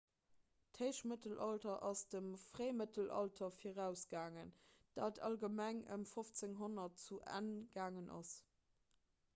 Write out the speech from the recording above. d'héichmëttelalter ass dem fréimëttelalter virausgaangen dat allgemeng ëm 1500 zu enn gaangen ass